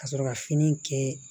Ka sɔrɔ ka fini kɛ